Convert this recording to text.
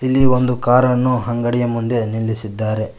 ಇಲ್ಲಿ ಒಂದು ಕಾರನ್ನು ಅಂಗಡಿಯ ಮುಂದೆ ನಿಲ್ಲಿಸಿದ್ದಾರೆ.